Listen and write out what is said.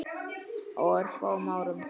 Á örfáum árum.